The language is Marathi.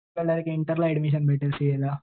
इंटरला ऍडमिशन भेटेल सीएला.